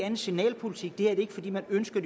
end signalpolitik det er ikke fordi man ønsker